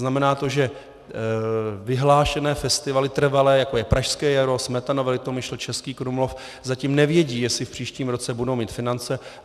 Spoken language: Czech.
Znamená to, že vyhlášené festivaly, trvalé, jako je Pražské jaro, Smetanova Litomyšl, Český Krumlov, zatím nevědí, jestli v příštím roce budou mít finance.